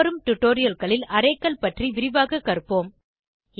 மேல்வரும் டுடோரியல்களில் arrayகள் பற்றி விரிவாக கற்போம்